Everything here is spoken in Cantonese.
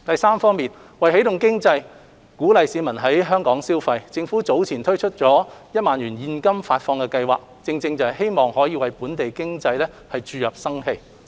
三為起動經濟，鼓勵市民在港消費，政府早前推出1萬元現金發放計劃，正是希望可為本地經濟注入生氣。